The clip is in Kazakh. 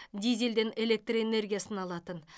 дизельден электр энергиясын алатын